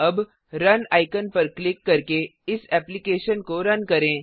अब run icon पर click करके इस एप्लिकेशन को रन करें